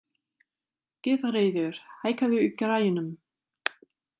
Gyðríður, hækkaðu í græjunum.